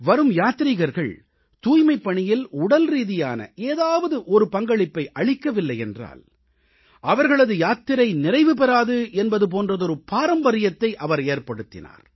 வரும் யாத்ரீகர்கள் தூய்மைப் பணியில் உடல்ரீதியான ஏதாவது ஒரு பங்களிப்பை அளிக்கவில்லையென்றால் அவர்களது யாத்திரை நிறைவு பெறாது என்பது போன்றதொரு பாரம்பரியத்தை அவர் ஏற்படுத்தினார்